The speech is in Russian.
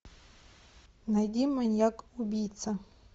найди маньяк убийца